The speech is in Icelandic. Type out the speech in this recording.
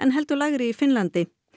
en heldur lægri í Finnlandi